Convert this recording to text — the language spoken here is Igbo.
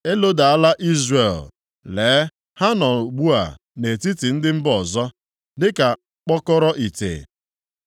Elodala Izrel! Lee, ha nọ ugbu a nʼetiti ndị mba ọzọ dịka mkpọkọrọ ite.